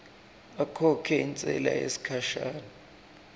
akhokhe intsela yesikhashana